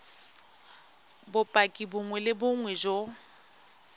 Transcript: bopaki bongwe le bongwe jo